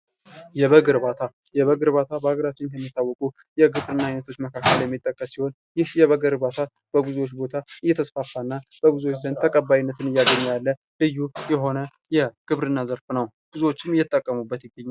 የበግ እርባታ፦ የበግ እርባታ በሀገራችን ከሚታወቁ የግብርና አይነቶች መካከል የሚጠቀሱ ሲሆን ይህ የበግ እርባታ በብዙዎች ቦታ እየተስፋፋ እና በብዙዎች ዘንድ ተቀባይነትን እያገኘ ያለ ልዩ የሆነ የግብርና ዘርፍ ነው ። ብዙዎችም እየተጠቀሙበት ይገኛሉ ።